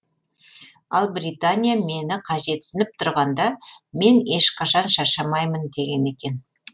ал британия мені қажетсініп тұрғанда мен ешқашан шаршамаймын деген екен